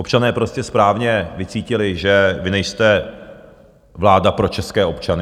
Občané prostě správně vycítili, že vy nejste vláda pro české občany.